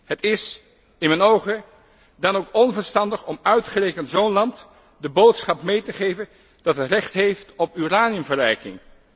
Het is in mijn ogen dan ook onverstandig om uitgerekend zo'n land de boodschap mee te geven dat het recht heeft op uraniumverrijking.